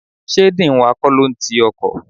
Sé dean wa kọ́ ló n ti ọkọ̀?